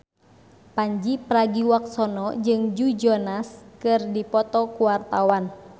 Pandji Pragiwaksono jeung Joe Jonas keur dipoto ku wartawan